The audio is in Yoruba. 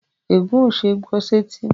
Ègún ó ṣeé gbọ́ sẹ́tí